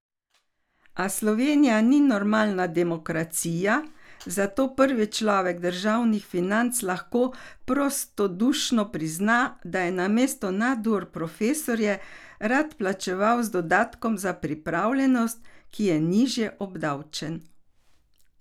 A Slovenija ni normalna demokracija, zato prvi človek državnih financ lahko prostodušno prizna, da je namesto nadur profesorje raje plačeval z dodatkom za pripravljenost, ki je nižje obdavčen.